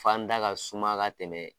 Fan da ka suma ka tɛmɛ